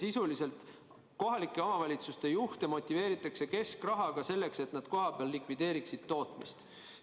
" Sisuliselt motiveeritakse kohalike omavalitsuste juhte keskrahaga, selleks et nad kohapeal likvideeriksid tootmist.